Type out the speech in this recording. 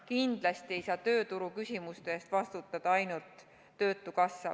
Kindlasti ei saa tööturuküsimuste eest vastutada ainult töötukassa.